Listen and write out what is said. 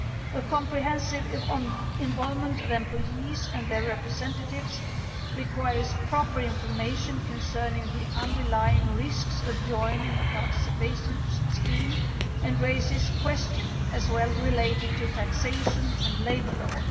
A comprehensive involvement of employees and their representatives requires proper information concerning the underlying risks of joining a participation scheme and also raises questions related to taxation and labour law.